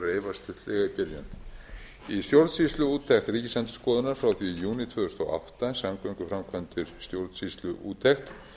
stuttlega í byrjun í stjórnsýsluúttekt ríkisendurskoðunar frá því í júní tvö þúsund og átta samgönguframkvæmdir stjórnsýsluúttekt